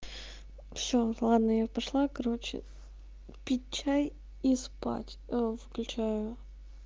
все ладно я пошла короче пить чай и спать ээ включаю